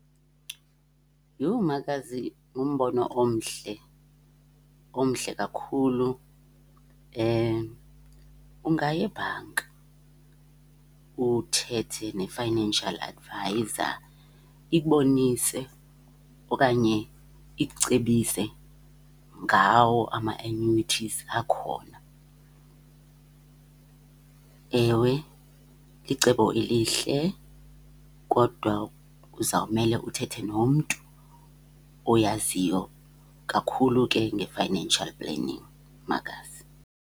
Yho makazi, ngumbono omhle, omhle kakhulu. Ungaya ebhanka uthethe ne-financial adviser ikubonise okanye ikucebise ngawo ama-annuities akhona. Ewe, licebo elihle kodwa uzawumele uthethe nomntu oyaziyo kakhulu ke nge-financial planning, makazi.